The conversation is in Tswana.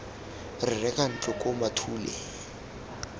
re reka ntlo koo mathule